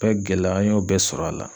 bɛɛ gɛlɛya an y'o bɛɛ sɔrɔ a la.